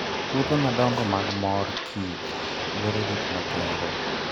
Puothe madongo mag mor kich dwaro rit makende.